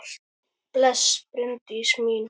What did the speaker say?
Bless, Bryndís mín!